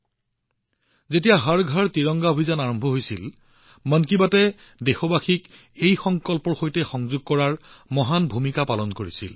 আনকি যেতিয়া হৰ ঘৰ তিৰংগা অভিযান আৰম্ভ হৈছিল মন কী বাতয়ে দেশবাসীক এই সংকল্পৰ সৈতে সংযোগ কৰাত এক ডাঙৰ ভূমিকা পালন কৰিছিল